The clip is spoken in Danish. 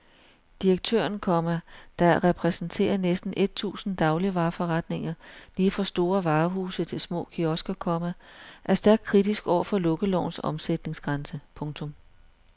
Direktøren, komma der repræsenterer næsten et tusind dagligvareforretninger lige fra store varehuse til små kiosker, komma er stærkt kritisk over for lukkelovens omsætningsgrænse. punktum